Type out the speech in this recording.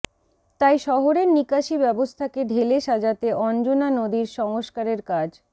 তাই শহরের নিকাশি ব্যবস্থাকে ঢেলে সাজাতে অঞ্জনা নদীর সংস্কারের কাজ